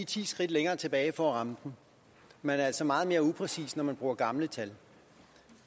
ti skridt længere tilbage for at ramme den man er altså meget mere upræcis når man bruger gamle tal